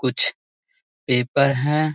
कुछ पेपर हैं।